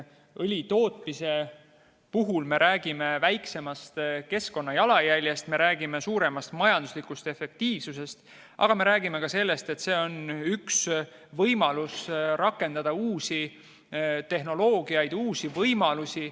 Õli tootmise puhul me räägime väiksemast keskkonnajalajäljest ja suuremast majanduslikust efektiivsusest, aga me räägime ka sellest, et see on üks võimalus rakendada uusi tehnoloogiaid ja uusi võimalusi.